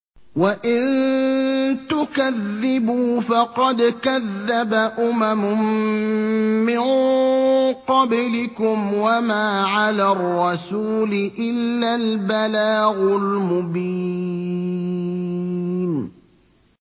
وَإِن تُكَذِّبُوا فَقَدْ كَذَّبَ أُمَمٌ مِّن قَبْلِكُمْ ۖ وَمَا عَلَى الرَّسُولِ إِلَّا الْبَلَاغُ الْمُبِينُ